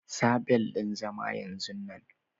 Sa bel ɗin zama yanzun nan!